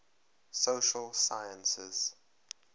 social sciences